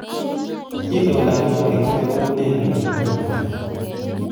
Itondap koristo koune eng olin bo uta